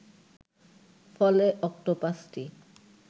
ফলে অক্টোপাসটি